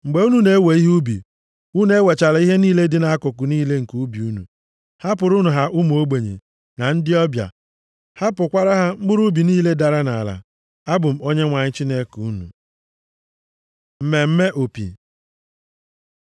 “ ‘Mgbe unu na-ewe ihe ubi, unu ewechala ihe niile dị nʼakụkụ niile nke ubi unu. Hapụrụnụ ha ụmụ ogbenye, na ndị ọbịa. Hapụkwara ha mkpụrụ ubi niile dara nʼala. Abụ m Onyenwe anyị Chineke unu.’ ” Mmemme Opi